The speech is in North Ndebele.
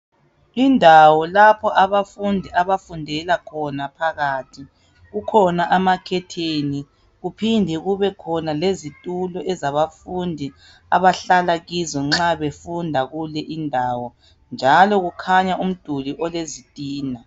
Indawo lapho abafundi abafundela khona phakathi, kukhona ama khetheni kuphinde kubekhona lezitulo ezabafundi abahlala kizo nxa befunda kule indawo njalo kukhanya umduli olezitina.